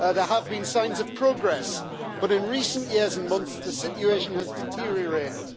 there have been signs of progress, but in recent years and months the situation has deteriorated.